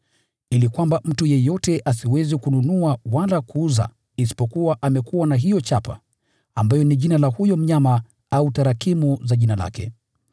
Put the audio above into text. ili kwamba mtu yeyote asiweze kununua wala kuuza isipokuwa amekuwa na hiyo chapa, ambayo ni jina la huyo mnyama au tarakimu za jina lake.